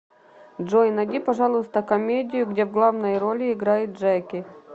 джой найди пожалуйста комедию где в главной роли играет джеки